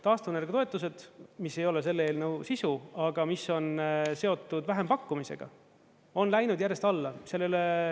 Taastuvenergia toetused, mis ei ole selle eelnõu sisu, aga mis on seotud vähempakkumisega, on läinud järjest alla.